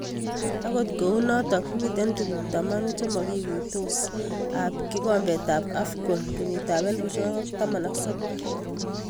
Akot kunotok mite tuguk tamanu chemakiguitos ab kikombet ab Afcon 2019.